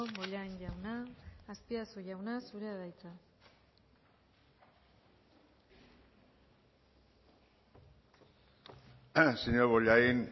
bollain jauna azpiazu jauna zurea da hitza señor bollain